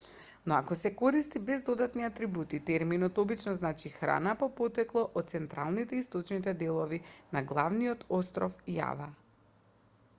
но ако се користи без додатни атрибути терминот обично значи храна по потекло од централните и источните делови на главниот остров јава